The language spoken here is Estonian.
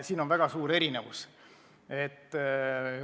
Siin on väga suur erinevus.